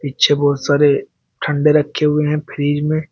पीछे बहोत सारे ठंडे रखे हुए हैं फ्रिज में।